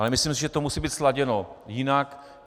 Ale myslím si, že to musí být sladěno jinak.